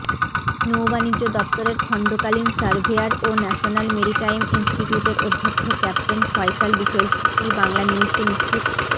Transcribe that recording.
নৌবাণিজ্য দফতরের খণ্ডকালীন সার্ভেয়ার ও ন্যাশনাল মেরিটাইম ইনস্টিটিউটের অধ্যক্ষ ক্যাপ্টেন ফয়সাল বিষয়টি বাংলানিউজকে নিশ্চিত